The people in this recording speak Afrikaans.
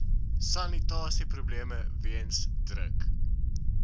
sanitasieprobleme weens druk